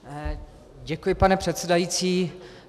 Děkuji, pane předsedající.